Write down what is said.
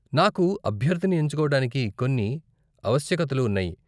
నాకు అభ్యర్ధిని ఎంచుకోడానికి కొన్ని ఆవశ్యకతలు ఉన్నాయి.